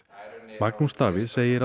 Magnús Davíð segir